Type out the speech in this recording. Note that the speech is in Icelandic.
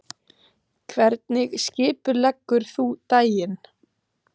Hvernig skipuleggur þú daginn?